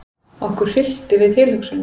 Okkur hryllti við tilhugsuninni.